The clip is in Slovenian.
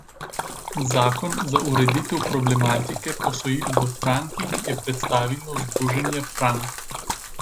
Zakon za ureditev problematike posojil v frankih je predstavilo Združenje Frank.